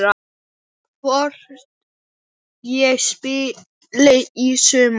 Hvort ég spili í sumar?